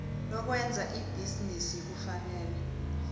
lokwenza ibhizinisi kufanele